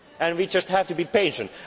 some results. We just have